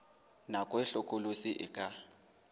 nako e hlokolosi e ka